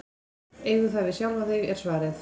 Eigðu það við sjálfan þig, var svarið.